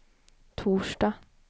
torsdag